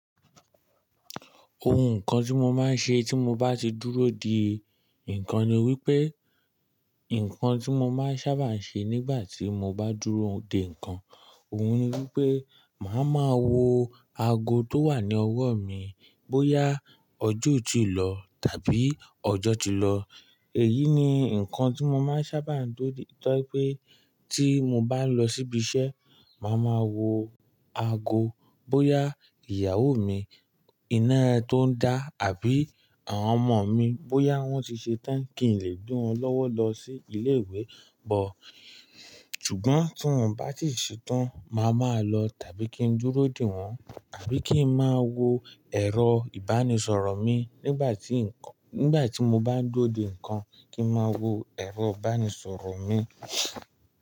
Ohun kan tí mo máa ń ṣe tí mo bá ti dúró dè ńkan ni wípé, nǹkan tí mo máa ń sábà ń ṣe nígbà tí mo bá n dúró dè ńkan, òhun ni wípé màá ma wo ago tó wà ní ọwọ́ mi bóyá ọjọ́ o tii lò tàbí ọjọ́ ti lọ. Èyí ni ǹkan tí mo máa ń sábà ń duro de tọ́ je wi pé tí mo bá n lọ síbi iṣẹ́, màá ma wo ago bóyá ìyàwó mi iná to ń dá àbí àwọn ọmọ mi bóyá wọ́n ti ṣe tán kí n lè gbe won lọ́wọ́ lọ sí ilé ìwé bọ̀. Ṣùgbọ́n tí wọ́n o bá tì se tan máa máa lọ tàbí kí n dúró dè wọ́n, àbí kí n má wo ẹ̀rọ ìbánisọ̀rọ̀ mi nígbà tí ǹkan, nígbà tí mo bá ń dúró dè ńkan kí ń má wo ẹ̀rọ ìbánisọ̀rọ̀ mi.